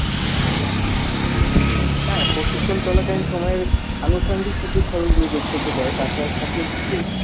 হ্যাঁ, প্রশিক্ষণ চলা কালীন সময়ে আনুষঙ্গিক কিছু খরচ নিজের থেকে যায়, তাছাড়া সকল কিছুই